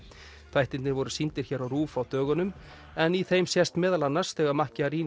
þættirnir voru sýndir hér á RUV á dögunum en í þeim sést meðal annars þegar